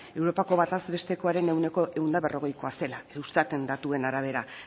europako bataz bestekoaren ehuneko ehun eta berrogeikoa zela eustat en datuen arabera